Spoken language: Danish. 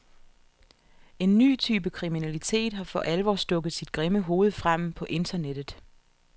En ny type kriminalitet har for alvor stukket sit grimme hoved frem på internettet.